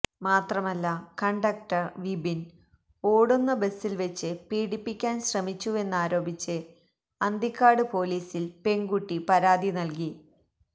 മാത്രമല്ല കണ്ടക്ടർ വിപിൻ ഓടുന്ന ബസിൽ വെച്ച് പീഡിപ്പിക്കാൻ ശ്രമിച്ചുവെന്നാരോപിച്ച് അന്തിക്കാട് പോലീസിൽ പെൺകുട്ടി പരാതി നൽകി